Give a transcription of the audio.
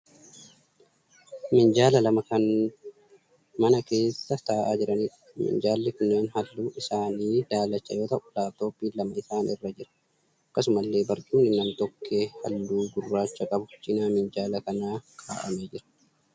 Minjaala lama kan mana keessa taa'aa jiraniidha. Minjaalli kunneen halluun isaanii daalacha yoo ta'u 'laaptooppiin' lamaan isaanii irra jira. Akkasumallee barcumni nam-tokkee halluu gurraacha qabu cina minjaala kanaa kaa'amee jira.